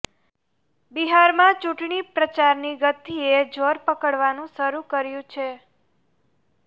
બિહારમાં ચૂંટણી પ્રચારની ગતિએ જોર પકડવાનું શરૂ કર્યું છે